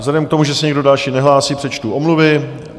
Vzhledem k tomu, že se nikdo další nehlásí, přečtu omluvy.